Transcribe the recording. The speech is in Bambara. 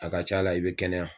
A ka ca la i be kɛnɛya